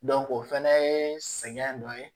o fɛnɛ ye sɛgɛn dɔ ye